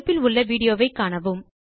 தொடுப்பில் உள்ள விடியோவை காணவும்